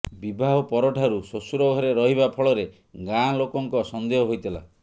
ବିବାହ ପରଠାରୁ ଶ୍ୱଶୁର ଘରେ ରହିବା ଫଳରେ ଗାଁ ଲୋକଙ୍କ ସନ୍ଦେହ ହୋଇଥିଲା